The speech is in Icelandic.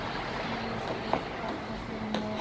Ég er hérna fyrir norðan.